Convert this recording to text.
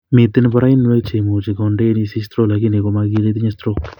Miten boroinwek chemuche kondein isich stroke lakini komakile itinye stroke